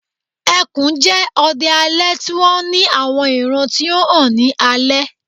ẹkùn jẹ odẹ alẹ ti wọn ni awọn iran ti o han ni alẹ